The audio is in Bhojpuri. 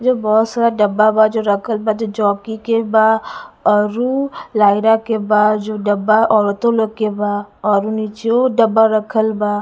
जो बहुत सारा डब्बा बा जो रखल बा जो जॉकी के बा और उ लयरा के बा जो औरत लोग के बा और उ निचवों डब्बा रखल बा--